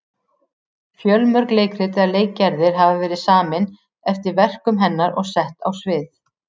Fjölmörg leikrit eða leikgerðir hafa verið samin eftir verkum hennar og sett á svið.